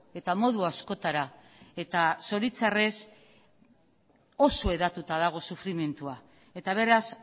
eta modu askotara eta zoritxarrez oso hedatuta dago sufrimendua eta beraz